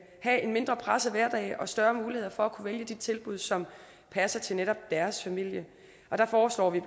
have en mindre presset hverdag og større mulighed for at kunne vælge de tilbud som passer til netop deres familie og der foreslår vi